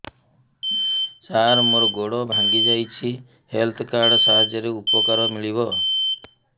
ସାର ମୋର ଗୋଡ଼ ଭାଙ୍ଗି ଯାଇଛି ହେଲ୍ଥ କାର୍ଡ ସାହାଯ୍ୟରେ ଉପକାର ମିଳିବ